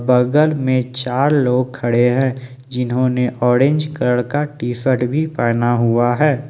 बगल में चार लोग खड़े हैं जिन्होंने ऑरेंज कलर का टी शर्ट भी पहना हुआ है।